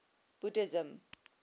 buddhism